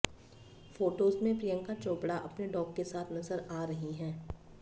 photos में प्रियंका चोपड़ा अपने dog के साथ नजर आ रही हैं